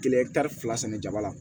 Kelen tari fila sɛnɛ jama la